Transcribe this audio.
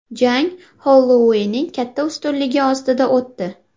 Jang Holloueyning katta ustunligi ostida o‘tdi.